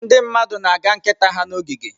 Ndị mmadụ na-aga nkịta ha n'ogige.